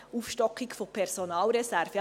Aufstockung von Personalreserven: